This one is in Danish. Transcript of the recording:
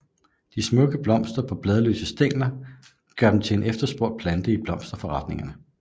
De smukke blomster på bladløse stængler gør den til en efterspurgt plante i blomsterforretningerne